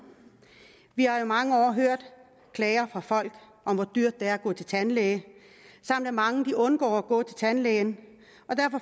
vi har i mange år hørt klager fra folk om hvor dyrt det er at gå til tandlæge samt at mange undgår at gå til tandlægen